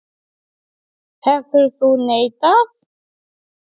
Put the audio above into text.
Er þetta hún?